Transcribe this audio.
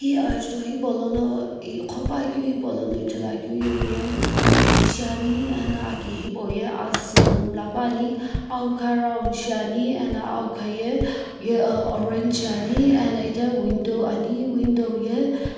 hi ajutho hipaulono i qhopuakeu hipaulono ithuluakeu ali shiani ena aki hipau ye asü na mla puani awukha round shiani ena awukha ye orange shiani ena itaghi window ani window ye.